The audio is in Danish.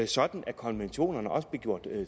sådan at konventionerne også blev gjort